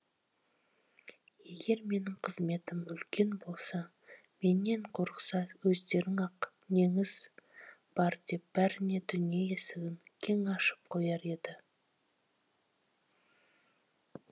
егер менің қызметім үлкен болса менен қорықса өздері ақ неңіз бар деп бәріне дүние есігін кең ашып қояр еді